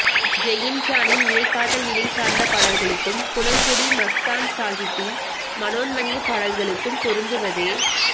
Saint ஜானின் இறைக்காதல்நிலை சார்ந்த பாடல்களுக்கும் குணங்குடி மஸ்தான் சாகிபின் மனோன்மணிப் பாடல்களுக்கும் பொருந்துவதே